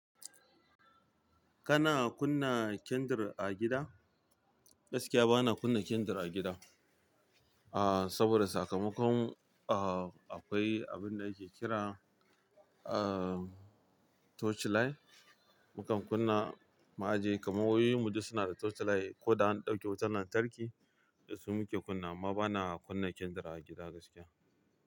Kana kunna kyandir a gida? Gaskiya bana kunna kyandir a gida, ah, saboda sakamakon, ah, akwai abin da ake kira, ah, torch light. Mukan kunna mu'ajiye, kamar wayoyi mu duk suna da torch light ko da an ɗauki wutar lantarki, da su muke kunna. Amma bana kunna kyandir a gida gaskiya.